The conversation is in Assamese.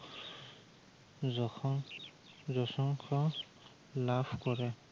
জখম, জসংসা লাভ কৰে।